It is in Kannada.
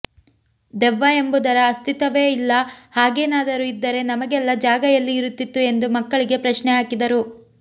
ದೆವ್ವ ಎಂಬುದರ ಅಸ್ತಿತ್ವವೇ ಇಲ್ಲ ಹಾಗೇನಾದರು ಇದ್ದರೆ ನಮಗೆಲ್ಲಾ ಜಾಗ ಎಲ್ಲಿ ಇರುತ್ತಿತ್ತು ಎಂದು ಮಕ್ಕಳಿಗೆ ಪ್ರಶ್ನೆಹಾಕಿದರು